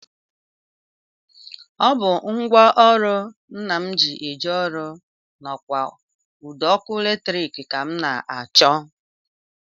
Ọ bụ ngwaọrụ Nna m ji eje ọrụ ndokwa ụdọọkụ latrik ka m na-achọ